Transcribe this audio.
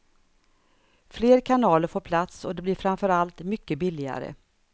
Fler kanaler får plats och det blir framför allt mycket billigare.